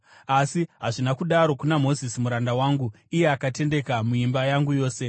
Asi hazvina kudaro kuna Mozisi muranda wangu; iye akatendeka muimba yangu yose.